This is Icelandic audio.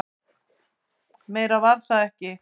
Meira var það ekki.